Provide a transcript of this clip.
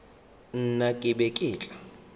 nna ke be ke tla